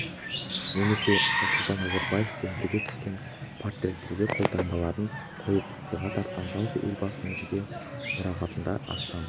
немесе нұрсұлтан назарбаевпен бірге түскен портреттерге қолтаңбаларын қойып сыйға тартқан жалпы елбасының жеке мұрағатында астам